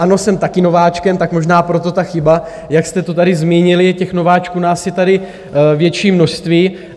Ano, jsem taky nováčkem, tak možná proto ta chyba, jak jste to tady zmínili, těch nováčků nás je tady větší množství.